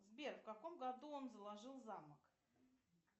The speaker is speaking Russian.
сбер в каком году он заложил замок